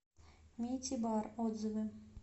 мити бар отзывы